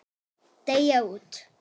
Deyja út.